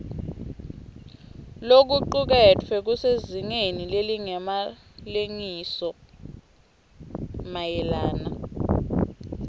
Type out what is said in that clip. lokucuketfwe kusezingeni lelingemalengisoisomayelana